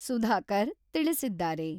ಸುಧಾಕರ್ ತಿಳಿಸಿದ್ದಾರೆ.